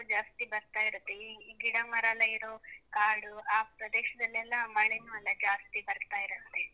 ಜಾಸ್ತಿ ಬರ್ತಾ ಇರುತ್ತೆ. ಈ ಗಿಡ ಮರ ಎಲ್ಲ ಇರೋ ಕಾಡು, ಆ ಪ್ರದೇಶದಲ್ಲೆಲ್ಲ ಮಳೆನೂ ಅಲ್ಲ ಜಾಸ್ತಿ ಬರ್ತಾ ಇರುತ್ತೆ.